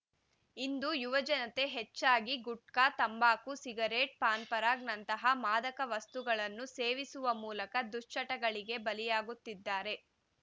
ಇಂದು ಯುವ ಜನತೆ ಹೆಚ್ಚಾಗಿ ಗುಟ್ಕಾ ತಂಬಾಕು ಸಿಗರೇಟ್‌ ಪಾನ್‌ ಪರಾಗ ನಂತಹ ಮಾದಕ ವಸ್ತುಗಳನ್ನು ಸೇವಿಸುವ ಮೂಲಕ ದುಶ್ಚಟಗಳಿಗೆ ಬಲಿಯಾಗುತ್ತಿದ್ದಾರೆ